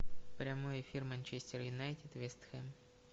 прямой эфир манчестер юнайтед вест хэм